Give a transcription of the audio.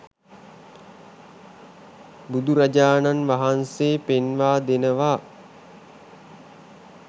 බුදුරජාණන් වහන්සේ පෙන්වා දෙනවා